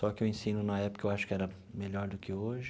Só que o ensino, na época, eu acho que era melhor do que hoje.